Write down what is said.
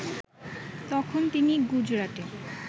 তখন তিনি গুজরাটে